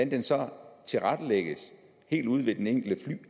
det så tilrettelægges helt ude ved den enkelte